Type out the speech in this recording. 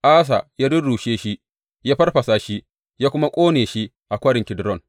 Asa ya rurrushe shi, ya farfasa shi ya kuma ƙone shi a Kwarin Kidron.